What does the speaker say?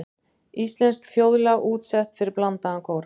Íslenskt þjóðlag útsett fyrir blandaðan kór.